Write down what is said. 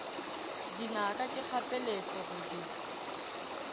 dinaka ke kgapeletšo go di